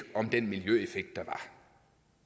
om den miljøeffekt